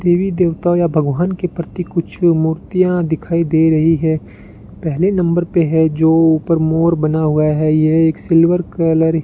देवी देवताओं या भगवान के प्रति कुछ मूर्तियां दिखाई दे रही है पहले नंबर है जो ऊपर मोर बना हुआ है ये एक सिल्वर कलर --